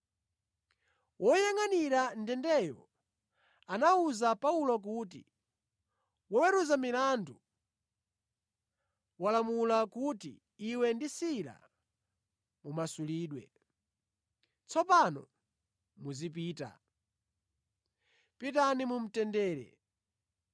Woyangʼanira ndendeyo anawuza Paulo kuti, “Woweruza milandu walamula kuti iwe ndi Sila mumasulidwe. Tsopano muzipita. Pitani mumtendere.”